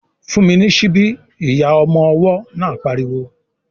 "Fún mi ní síbí!" Ìyá ọmọ ọwọ́ náà pariwo